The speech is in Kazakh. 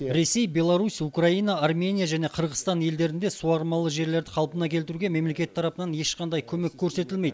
ресей беларусь украина армения және қырғызстан елдерінде суармалы жерлерді қалпына келтіруге мемлекет тарапынан ешқандай көмек көрсетілмейді